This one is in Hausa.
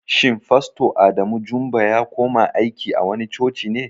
Shin fasto Adamu Jumba ya kuma aiki a wani coci ne?